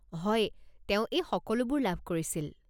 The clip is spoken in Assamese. হয়, তেওঁ এই সকলোবোৰ লাভ কৰিছিল।